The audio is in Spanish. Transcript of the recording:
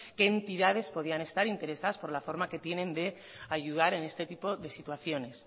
qué entidades podían estar interesadas por la forma que tienen de ayudar en este tipo de situaciones